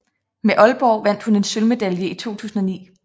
Med Aalborg vandt hun en sølvmedalje i 2009